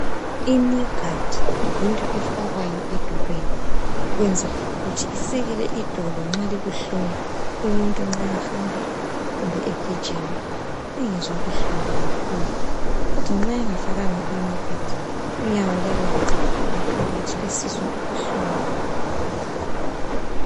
Iknee guard yinto efakwayo edolweni ukwenzela ukuthi isekele idolo nxa libuhlungu. Umuntu nxa ehamba kumbe egijima engezwa buhlungu kakhulu kodwa nxa engafakanga iknee guard unyawo luyabe luxega ngaphakathi esizwa ubuhlungu.